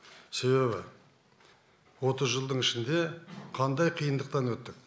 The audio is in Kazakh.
себебі отыз жылдың ішінде қандай қиындықтан өттік